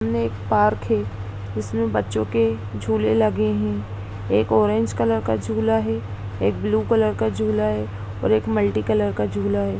ने एक पार्क है जिसमें बच्चों के झूले लगे हैं। एक ऑरेंज कलर का झूला है एक ब्लू कलर का झूला है और एक मल्टी कलर का झूला है ।